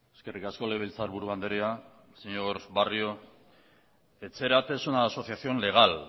eskerrik asko legebiltzarburu andrea señor barrio etxerat es una asociación legal